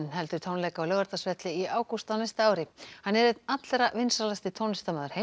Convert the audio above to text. heldur tónleika á Laugardalsvelli í ágúst á næsta ári hann er einn allra vinsælasti tónlistarmaður heims